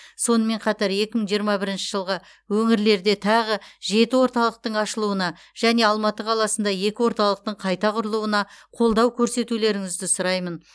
сонымен қатар екі мың жиырма бірінші жылы өңірлерде тағы жеті орталықтың ашылуына және алматы қаласында екі орталықтың қайта құрылуына қолдау көрсетулеріңізді сұраймын